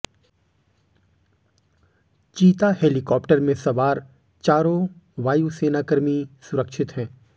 चीता हेलीकॉप्टर में सवार चारों वायुसेना कर्मी सुरक्षित हैं